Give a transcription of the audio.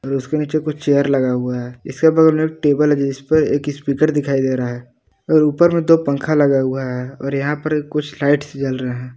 और उसके नीचे कुछ चेयर लगा हुआ है जिस पर एक स्पीकर दिखाई दे रहा है और ऊपर में दो पंखा लगा हुआ है और यहां पर कुछ लाइट्स जल रहा है।